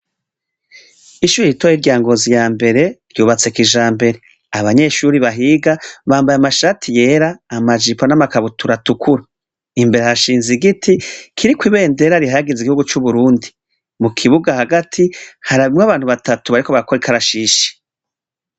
Ishuri ritoya rya ngozi yambere ryubatse kijambere abanyeshuri bahiga bambaye amashati yera amajipo namakabutura atukura imbere harashinze igiti kiriko ibendera rihayagiza igihugu cuburundi mukibuga hagati harimwo abantu batatu bariko barakora ikarashishi